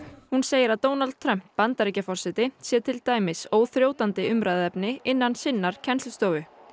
hún segir að Donald Trump Bandaríkjaforseti sé til dæmis óþrjótandi umræðuefni innan sinnar kennslustofu